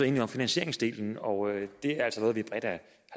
enige om finansieringsdelen og det er altså